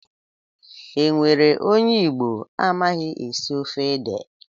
Enwere onye Igbo amaghị esi ofe ede?